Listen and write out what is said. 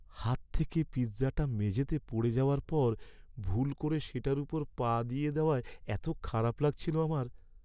হাত থেকে পিৎজাটা মেঝেতে পড়ে যাওয়ার পর ভুল করে সেটার ওপর পা দিয়ে দেওয়ায় এত খারাপ লাগছিল আমার।